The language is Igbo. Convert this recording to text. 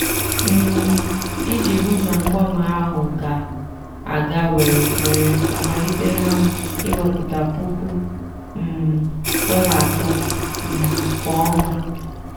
um iji hụ na mgbanwe ahụ ga-aga were were amalitela m iwepụta puku um dollar atọ um kwa ọnwa.